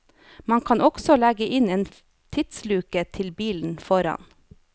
Man kan også legge inn en tidsluke til bilen foran.